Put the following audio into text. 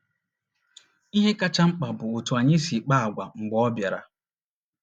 Ihe kacha mkpa bụ otú anyị si kpaa àgwà mgbe ọ bịara.